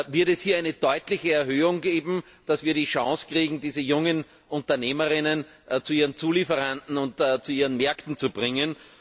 Wird es hier eine deutliche Erhöhung geben, damit wir die Chance bekommen, diese jungen UnternehmerInnen zu ihren Zulieferern und zu ihren Märkten zu bringen?